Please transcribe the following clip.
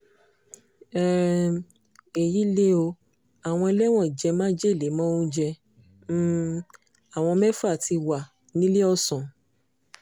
um èyí lè o àwọn ẹlẹ́wọ̀n jẹ́ májèlé mọ́ oúnjẹ um àwọn mẹ́fà tí wà níléèọ̀sán